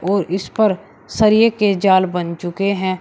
और इस पर सरिये के जाल बन चुके हैं।